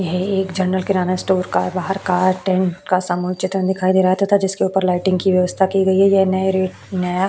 यह एक general kirana store का बहार का टेंट का समुचित का दिखाई दे रहा है। जिसके ऊपर लाइट की व्यस्था की गई है यह नए रे नया --